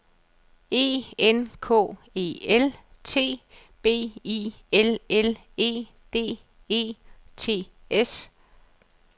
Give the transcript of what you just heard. E N K E L T B I L L E D E T S